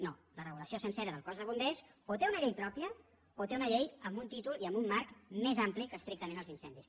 no la regulació sencera del cos de bombers o té una llei pròpia o té una llei amb un títol i amb un marc més ampli que estrictament els incen·dis